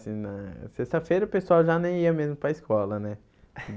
Assim na Sexta-feira, o pessoal já nem ia mesmo para escola, né?